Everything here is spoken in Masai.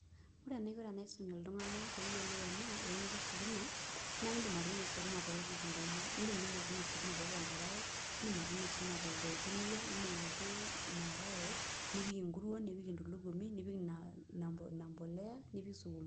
Ore enaiko paisum ltunganak peyiolou ena eunoto esukuma naindim atuuno sukuma towuejitin kumok ,indim atuuno sukuma tiatua enkarae, indim atuuno sukuma anaa enkareennipik enterit nipik entulugumi nipik empolea nipik sukuma.